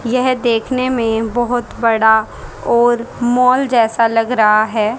यह देखने में बहुत बड़ा और मॉल जैसा लग रहा है।